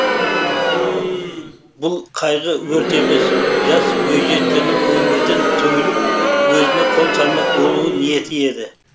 бұл қайғы өрт емес жас бойжеткеннің өмірден түңіліп өзіне қол салмақ болу ниеті еді